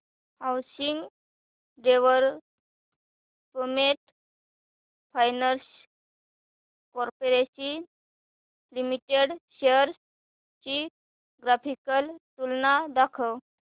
housing development finance corporation limited shares ची graphical तुलना दाखव